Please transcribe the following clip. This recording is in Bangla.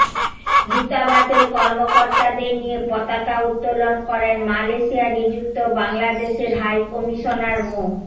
দূতাবাসের কর্মকর্তাদের নিয়ে পতাকা উত্তোলন করেন মালয়েশিয়ায় নিযুক্ত বাংলাদেশের হাইকমিশনার মো